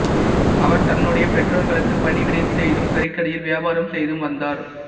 அவர் தன்னுடைய பெற்றோர்களுக்கு பணிவிடை செய்தும் கறிக்கடையில் வியாபாரம் செய்தும் வந்தார்